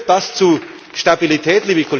Führt das zu Stabilität?